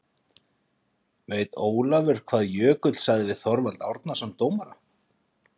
Veit Ólafur hvað Jökull sagði við Þorvald Árnason dómara?